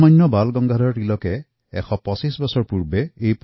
লোকমান্য বাল গংগাধৰ তিলকে ১২৫ বছৰ আগতে এই প্ৰথা আৰম্ভ কৰিছিল